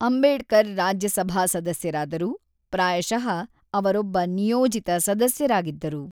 ಅಂಬೇಡ್ಕರ್ ರಾಜ್ಯಸಭಾ ಸದಸ್ಯರಾದರು, ಪ್ರಾಯಶಃ ಅವರೊಬ್ಬ ನಿಯೋಜಿತ ಸದಸ್ಯರಾಗಿದ್ದರು.